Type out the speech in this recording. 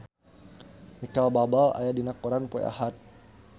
Micheal Bubble aya dina koran poe Ahad